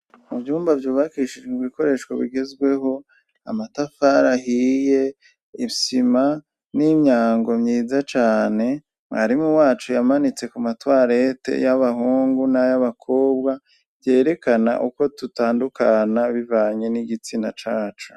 Mu vyumba vyubakishijwe ibikoresho bigezweho amatafari ahiye, isima n'imyango myiza cane mwarimu wacu yamanitse ku matwarete y'abahungu n'ay'abakobwa vyerekana uko dutandukana bivanye n'igitsina cacu.